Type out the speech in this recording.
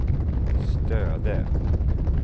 Stöde